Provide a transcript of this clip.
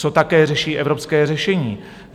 Co také řeší evropské řešení?